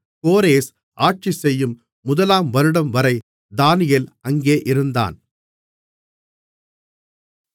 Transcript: கோரேஸ் ஆட்சிசெய்யும் முதலாம்வருடம்வரை தானியேல் அங்கே இருந்தான்